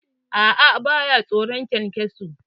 A'a, ba ya tsoron kyankyaso.